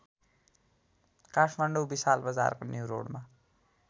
काठमाडौँ विशालबजारको न्युरोडमा